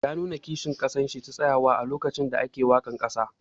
Yana nuna kishin kasan shi ta tsayawa a lokacin da ake wakan kasa.